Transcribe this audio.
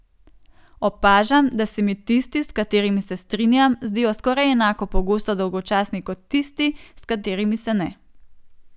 Opažam, da se mi tisti, s katerimi se strinjam, zdijo skoraj enako pogosto dolgočasni kot tisti, s katerimi se ne.